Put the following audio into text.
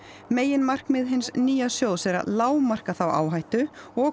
meginmarkmið hins nýja sjóðs er að lágmarka þá áhættu og